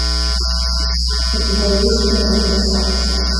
у тебя есть кино красавцы